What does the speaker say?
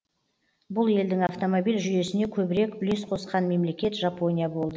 бұл елдің автомобиль жүйесіне көбірек үлес қосқан мемлекет жапония болды